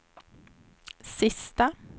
sista